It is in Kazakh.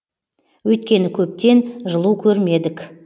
өйткені көптен жылу көрмедік